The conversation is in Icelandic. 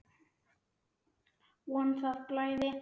Von að það blæði!